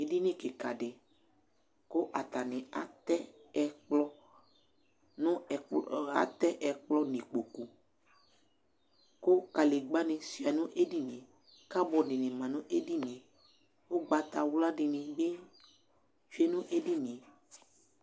Edini kika di, kʋ atani atɛ ɛkplɔ nʋ ikpoku , kʋ kalegbǝ ni sʋia nʋ edinie, kabɔdɩ ni ma nʋ edinie, ugbatawla dini bɩ tsʋe nʋ ednie